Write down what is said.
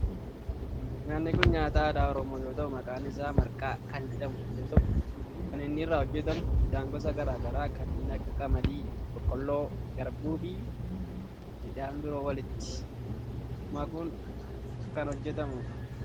Nyaatni kun nyaata aadaa oromoo yoo ta'u maqaan isaa marqaa kan jedhamu yoo ta'u kan inni irraa hojjetamu midhaan gosa garaa garaa kanneen akka qamadii, boqqoolloo, garbuu fi midhaan biroo walitti makuun kan hojjetamudha.